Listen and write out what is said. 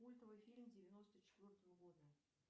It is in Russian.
культовый фильм девяносто четвертого года